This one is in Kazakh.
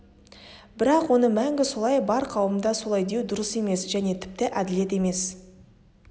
бірақ оны мәңгі солай бар қауымда солай деу дұрыс емес және тіпті әділет емес